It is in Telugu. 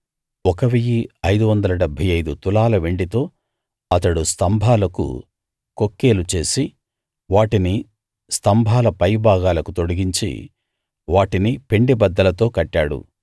1 575 తులాల వెండితో అతడు స్తంభాలకు కొక్కేలు చేసి వాటిని స్తంభాల పైభాగాలకు తొడిగించి వాటిని పెండెబద్దలతో కట్టాడు